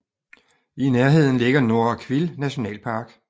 I nærheden ligger Norra Kvill Nationalpark